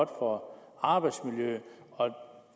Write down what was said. år